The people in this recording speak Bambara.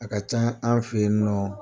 A ka can an fɛ yen, n nɔ